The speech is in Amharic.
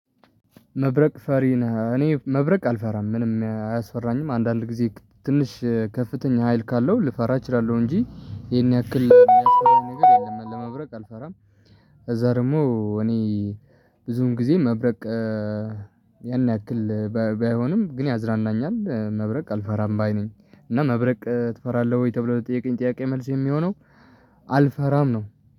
መብረቅ ፈሪ ነህ እኔ መብረቅ አልፈራም። ምንም አያስፈራኝም አንዳንድ ጊዜ ትንሽ ከፍተኛ ሀይል ካለው ልፈራ እችላለሁ እንጂ ይሄን ያክል የሚያስፈራኝ ነገር የለም። ለመብረቅ አልፈራም ከዛ ደግሞ እኔ ብዙውን ጊዜ መብረቅ ያን ያክል ባይሆንም ግን ያዝናናኛል። መብረቅ አልፈራም ባይ ነኝ እና መብረቅ ትፈራለህ ወይ ተብሎ ለተጠያቀኝ ጥያቄ መልስ የሚሆነው አልፈራም ነው።